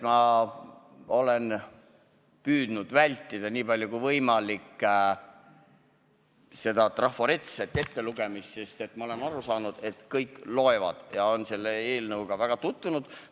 Ma olen püüdnud niipalju kui võimalik vältida trafaretset ettelugemist, sest olen aru saanud, et kõik on selle eelnõuga tutvunud.